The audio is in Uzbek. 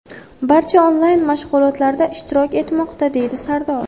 Barcha onlayn mashg‘ulotlarda ishtirok etmoqda”, deydi Sardor.